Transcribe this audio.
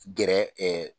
Gɛrɛ